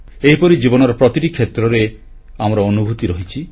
ଏହିପରି ଜୀବନର ପ୍ରତିଟି କ୍ଷେତ୍ରରେ ଆମର ଅନୁଭୂତି ରହିଛି